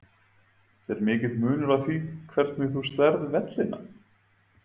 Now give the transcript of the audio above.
Er mikill munur á því hvernig þú slærð vellina?